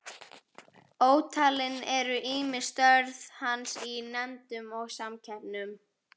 Ótalin eru ýmis störf hans í nefndum og samkeppnum.